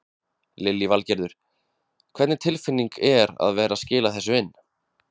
Lillý Valgerður: Hvernig tilfinning er að vera skila þessu inn?